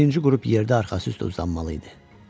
Birinci qrup yerdə arxası üstə uzanmalı idi.